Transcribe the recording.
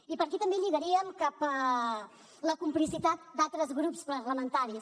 i per aquí també lligaríem cap a la complicitat d’altres grups parlamentaris